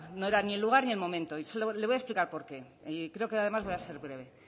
ni el lugar ni el momento y le voy a explicar por qué y creo que además voy a ser breve